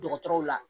Dɔgɔtɔrɔw la